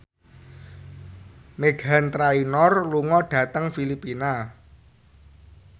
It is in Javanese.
Meghan Trainor lunga dhateng Filipina